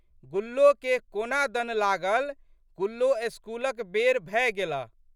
गुल्लोके कोना दन लागल गुल्लो स्कूलक बेर भए गेलह।